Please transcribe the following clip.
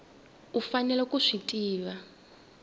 u faneleke ku swi tiva